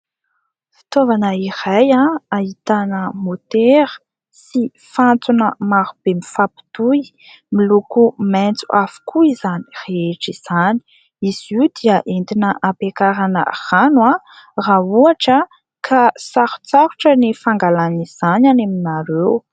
Fitaovana iray ahitana motera sy fantsona maro be mifampitohy ; miloko maitso avokoa izany rehetra izany. Izy io dia entina hampiakarana rano raha ohatra ka sarotsarotra ny fangalan'izany any aminareo.